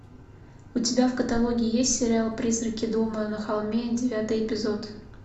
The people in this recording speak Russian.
у тебя в каталоге есть сериал призраки дома на холме девятый эпизод